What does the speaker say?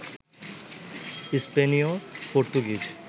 স্পেনীয়, পর্তুগিজ